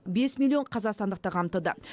бес миллион қазақстандықты қамтыды